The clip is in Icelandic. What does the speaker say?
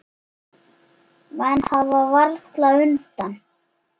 Menn hafa varla undan.